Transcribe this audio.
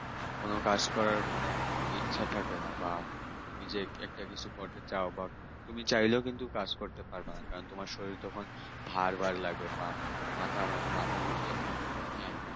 কোন কাজ করার মানে ইচ্ছা থাকবে না তুমি যে একটা কিছু করতে চাও বা তুমি চাইলেও কিন্তু কাজ করতে পারবে না তোমার শরীর তখন ভার ভার লাগবে, মাথা মাথা ঘুরবে হ্যাঁ